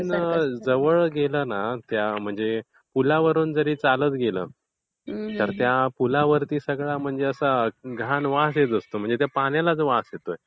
जवळ गेलं न म्हणजे त्या पूलावरूनच जरी चालत गेलं तर त्या पुलावर असा घाण वास येत असतो. म्हणजे त्या पाण्यालाच वास येतोय.